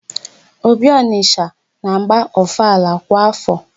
Obi Ọnịsha na-agba ọfala kwa áfọ.